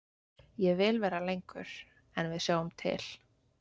Ég vil vera lengur en við sjáum til.